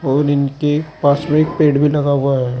और इनके पास में एक पेड़ भी लगा हुआ है।